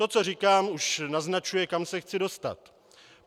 To, co říkám, už naznačuje, kam se chci dostat.